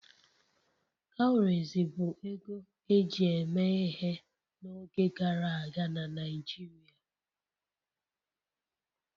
Cowries bụ ego eji eme ihe n'oge gara aga na Naijiria